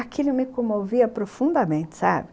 Aquilo me comovia profundamente, sabe?